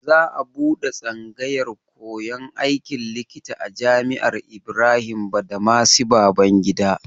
Za a buɗe tsangayar koyan aikin likita a Jami'ar Ibrahim Badamasi Babangida.